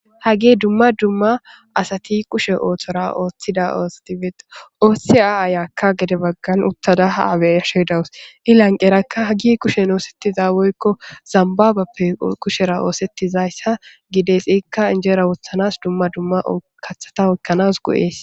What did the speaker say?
hagi dumma dumma asati kushe ooththora ooththida ooseti feeda ooththi aa ayakka gede baggan uttada ha abeashedawus i lanqerakka hagi kushen oosettiza woykko zambaabappe kushera oosettizayssa gidesiikka injeera wothanas dumma dumma kathata ekkanas go7ees